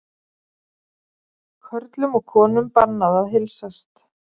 Körlum og konum bannað að heilsast